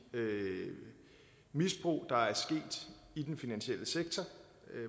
misbrug der er sket i den finansielle sektor